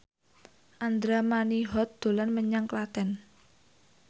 Andra Manihot dolan menyang Klaten